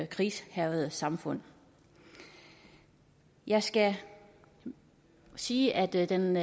krigshærgede samfund jeg skal sige at at den